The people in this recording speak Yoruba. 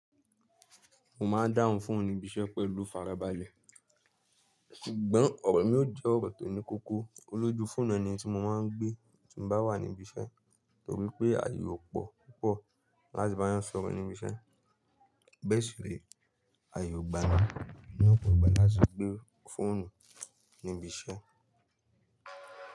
Mo máa ń dáhùn foonu níbiṣẹ́ pẹ̀lú ifarabalẹ̀. Sùgbọ́n ọ̀rọ̀ mi ò jẹ́ ọ̀rọ̀ tó ní kokó olójú fóònù ẹni tí mo máa ń gbé tí mo bá wà níbi iṣẹ́, torí pé àyè ò pọ̀ púpọ̀ láti báyàn sọ̀rọ̀ níbi iṣẹ́. Bee si ree, àyè ò gba mi ní ọ̀pọ̀ ìgbà láti gbé fóònù níbi iṣẹ́.